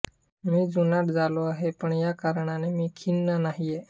मी जुनाट झालो आहे पण या कारणाने मी खिन्न नाहीये